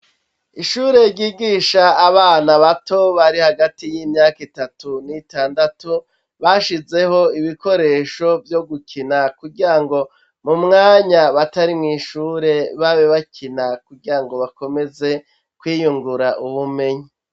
Ishure ry'igisha abana bato bari hagati y'imyaka itatu n'itandatu bashizeho ibikoresho vyo gukina kugira ngo mu mwanya batari mw’ ishure babe bakina kugira ngo bakomeze kwiyungura ubumenyi.